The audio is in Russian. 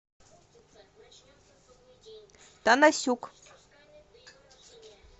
танасюк